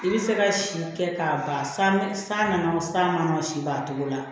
I bɛ se ka si kɛ k'a ban san san san nana san mangɔ si b'a togo la